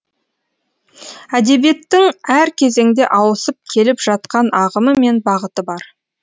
әдебиеттің әр кезеңде ауысып келіп жатқан ағымы мен бағыты бар